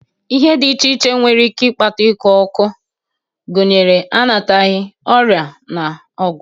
Ihe dị iche iche nwere ike ịkpata ọkụ ọkụ, gụnyere anataghi, ọrịa na ọgwụ